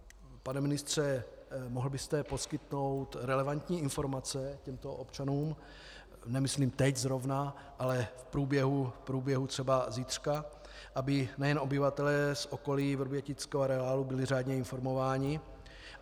Pane ministře, mohl byste poskytnout relevantní informace těmto občanům, nemyslím teď zrovna, ale v průběhu třeba zítřka, aby nejen obyvatelé z okolí vrbětického areálu byli řádně informováni?